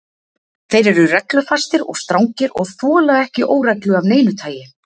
Þeir eru reglufastir og strangir og þola ekki óreglu af neinu tagi.